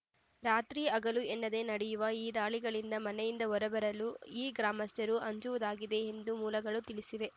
ರಾತ್ರಿ ಹಗಲು ಎನ್ನದೇ ನಡೆಯುವ ಈ ದಾಳಿಗಳಿಂದ ಮನೆಯಿಂದ ಹೊರ ಬರಲು ಈ ಗ್ರಾಮಸ್ಥರು ಅಂಜುವುದಾಗಿದೆ ಎಂದು ಮೂಲಗಳು ತಿಳಿಸಿವೆ